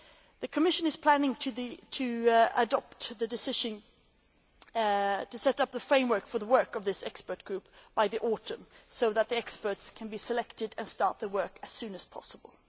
The Commission is planning to adopt the decision to set up the framework for the work of this expert group by the autumn, so that experts can be selected and start work as soon as possible.